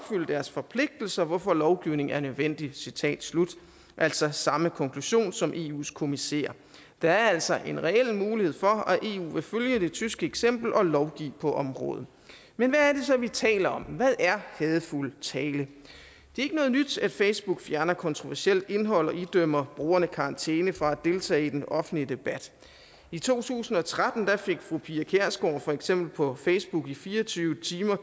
deres forpligtelser hvorfor lovgivning er nødvendig citat slut altså samme konklusion som eus kommissær der er altså en reel mulighed for at eu vil følge det tyske eksempel og lovgive på området men hvad er det så vi taler om hvad er hadefuld tale det er ikke noget nyt at facebook fjerner kontroversielt indhold og idømmer brugerne karantæne for at deltage i den offentlige debat i to tusind og tretten fik fru pia kjærsgaard for eksempel på facebook karantæne i fire og tyve timer